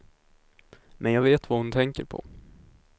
Men jag vet vad hon tänker på.